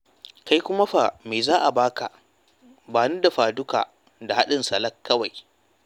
Kai kuma fa, me za a ba ka? Ba ni dafa-duka da haɗin salak kawai.